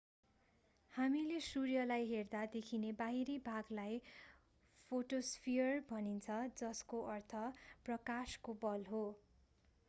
हामीले सूर्यलाई हेर्दा देखिने बाहिरी भागलाई फोटोस्फियर भनिन्छ जसको अर्थ प्रकाशको बल हो